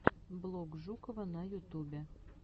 блог жукова на ютубе